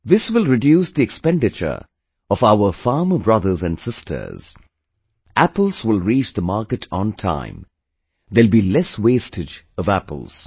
This will reduce the expenditure of our farmer brothers and sisters apples will reach the market on time, there will be less wastage of apples